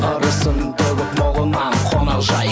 ырысын төгіп молынан қонақжай